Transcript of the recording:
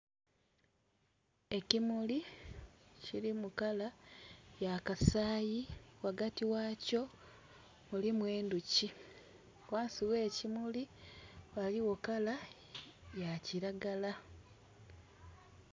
Ekimuli kilimu kala ya kasayi ghagati ghakyo mulimu endhuki, ghansi gh'ekimuli ghaligho kala ya kilagala.